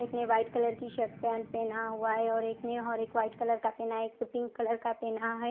इसने white colour का shirt pant पहना हुआ है और एक ने और वाईट कलर का पहना और एक ने पिंक कलर का पहना है।